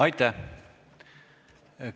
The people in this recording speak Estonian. Aitäh!